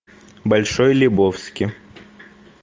большой лебовски